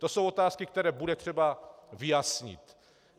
To jsou otázky, které bude třeba vyjasnit.